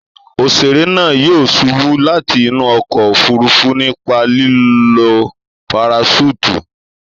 Òṣèré náà yóò ṣubú láti inú ọkọ̀ òfurufú nípa lílo paraṣúùtù.